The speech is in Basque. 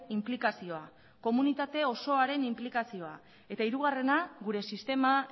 inplikazioa komunitate osoaren inplikazioa eta hirugarrena gure sistema